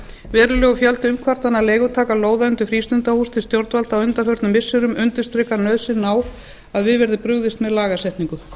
verulegur fjöldi umkvartana leigutaka lóða undir frístundahús til stjórnvalda á undanförnum missirum undirstrikar nauðsynina á að við verði brugðist með lagasetningu